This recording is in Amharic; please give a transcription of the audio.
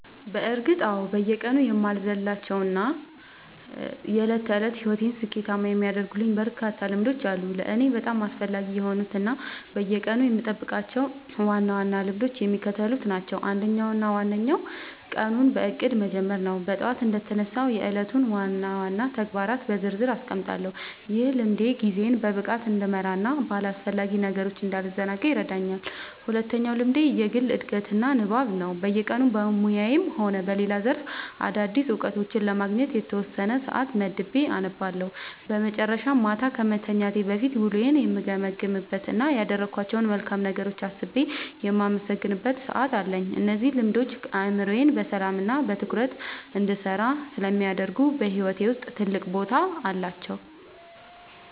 በእርግጥ አዎ፤ በየቀኑ የማልዘልላቸው እና የዕለት ተዕለት ሕይወቴን ስኬታማ የሚያደርጉልኝ በርካታ ልምዶች አሉ። ለእኔ በጣም አስፈላጊ የሆኑት እና በየቀኑ የምጠብቃቸው ዋና ዋና ልምዶች የሚከተሉት ናቸው፦ አንደኛው እና ዋነኛው ቀኑን በእቅድ መጀመር ነው። ጠዋት እንደተነሳሁ የዕለቱን ዋና ዋና ተግባራት በዝርዝር አስቀምጣለሁ፤ ይህ ልምድ ጊዜዬን በብቃት እንድመራና በአላስፈላጊ ነገሮች እንዳልዘናጋ ይረዳኛል። ሁለተኛው ልምዴ የግል ዕድገትና ንባብ ነው፤ በየቀኑ በሙያዬም ሆነ በሌላ ዘርፍ አዳዲስ እውቀቶችን ለማግኘት የተወሰነ ሰዓት መድቤ አነባለሁ። በመጨረሻም፣ ማታ ከመተኛቴ በፊት ውሎዬን የምገመግምበት እና ያደረግኳቸውን መልካም ነገሮች አስቤ የማመሰግንበት ሰዓት አለኝ። እነዚህ ልምዶች አእምሮዬ በሰላምና በትኩረት እንዲሰራ ስለሚያደርጉ በሕይወቴ ውስጥ ትልቅ ቦታ አላቸው።"